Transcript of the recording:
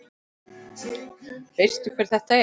Veistu hver þetta er?